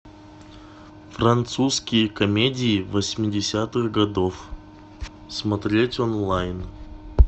французские комедии восьмидесятых годов смотреть онлайн